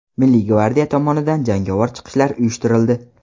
Milliy gvardiya tomonidan jangovar chiqishlar uyushtirildi.